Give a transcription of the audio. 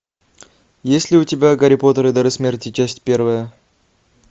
есть ли у тебя гарри поттер и дары смерти часть первая